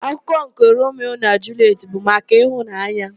Akụkọ nke Romio na Julietị bụ maka ịhụnanya.